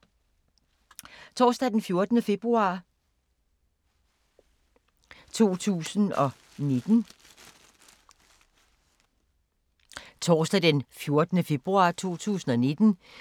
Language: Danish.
Torsdag d. 14. februar 2019